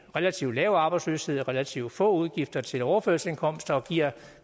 relativt lav arbejdsløshed relativt få udgifter til overførselsindkomster og giver